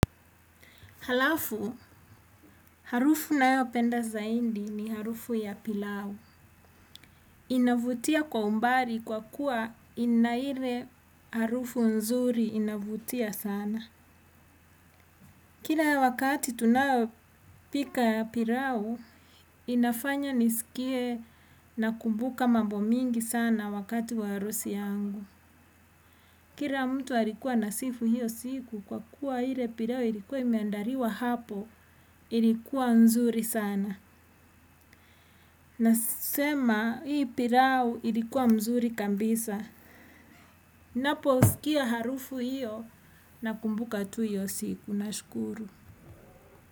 Halafu, harufu na yopenda zaidi ni harufu ya pilau. Inavutia kwa umbali kwa kuwa inaile harufu nzuri inavutia sana. Kila wakati tunayopika ya pilau, inafanya nisikie na kumbuka mambo mingi sana wakati wa harusi yangu. Kila mtu alikuwa anasifu hiyo siku kwa kuwa ile pilau ilikuwa imeandaliwa hapo, ilikuwa nzuri sana. Nasema hii pilau ilikuwa mzuri kabisa. Naposikia harufu hiyo na kumbuka tu hiyo siku na shukuru.